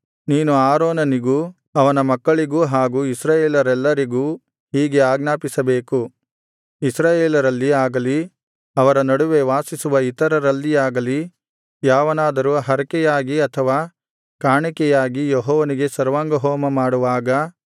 ನೀನು ಆರೋನನಿಗೂ ಅವನ ಮಕ್ಕಳಿಗೂ ಹಾಗೂ ಇಸ್ರಾಯೇಲರೆಲ್ಲರಿಗೂ ಹೀಗೆ ಆಜ್ಞಾಪಿಸಬೇಕು ಇಸ್ರಾಯೇಲರಲ್ಲಿ ಆಗಲಿ ಅವರ ನಡುವೆ ವಾಸಿಸುವ ಇತರರಲ್ಲಿಯಾಗಲಿ ಯಾವನಾದರೂ ಹರಕೆಯಾಗಿ ಅಥವಾ ಕಾಣಿಕೆಯಾಗಿ ಯೆಹೋವನಿಗೆ ಸರ್ವಾಂಗಹೋಮ ಮಾಡುವಾಗ